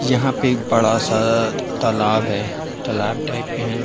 यहां पे एक बड़ा सा तालाब है। तालाब टाइप में है।